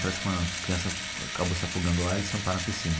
Parece que uma criança acabou se afogando lá e eles tamparam a piscina.